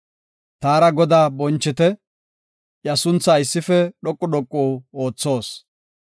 Taara Godaa bonchite; iya sunthaa issife dhoqu dhoqu oothoos.